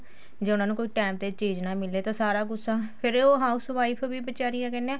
ਜੇ ਉਹਨਾ ਨੂੰ ਕੋਈ time ਤੇ ਚੀਜ਼ ਨਾ ਮਿਲੇ ਤਾਂ ਸਾਰਾ ਗੂੱਸਾ ਫੇਰ ਉਹ house wife ਵੀ ਬੀਚਾਰੀ ਕਿਆ ਕਹਿਨੇ ਏ